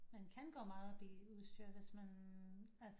Man kan gå meget op i udstyr hvis man altså